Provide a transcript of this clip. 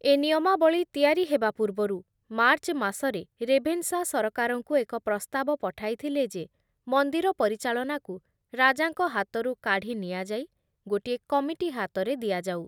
ଏ ନିୟମାବଳୀ ତିଆରି ହେବା ପୂର୍ବରୁ ମାର୍ଚ୍ଚ ମାସରେ ରେଭେନଶା ସରକାରଙ୍କୁ ଏକ ପ୍ରସ୍ତାବ ପଠାଇଥିଲେ ଯେ ମନ୍ଦିର ପରିଚାଳନାକୁ ରାଜାଙ୍କ ହାତରୁ କାଢ଼ି ନିଆଯାଇ ଗୋଟିଏ କମିଟି ହାତରେ ଦିଆଯାଉ ।